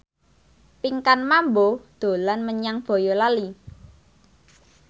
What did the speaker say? Pinkan Mambo dolan menyang Boyolali